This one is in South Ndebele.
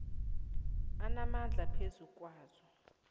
anamandla phezu kwazo